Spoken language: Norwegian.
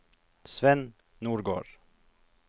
Svenn Nordgård